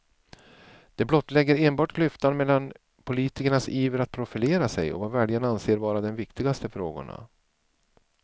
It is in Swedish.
Det blottlägger enbart klyftan mellan politikernas iver att profilera sig och vad väljarna anser vara de viktigaste frågorna.